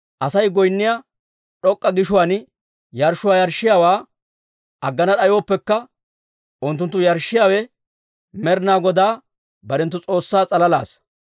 Asay goynniyaa d'ok'k'a gishuwaan yarshshuwaa yarshshiyaawaa aggana d'ayooppekka, unttunttu yarshshiyaawe Med'inaa Godaa barenttu S'oossaa s'alalaassa.